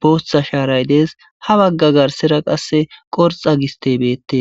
booththa shaaray dees ha bagga garsera qasse qorxa gistebeette.